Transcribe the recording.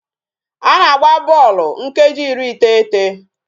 A na-agba bọọlụ nkeji iri iteghete